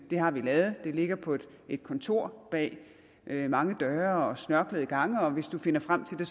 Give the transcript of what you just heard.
har vi lavet det ligger på et kontor bag mange døre og snørklede gange og hvis du finder frem til det